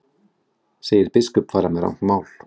Segir biskup fara með rangt mál